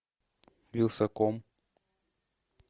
вилсаком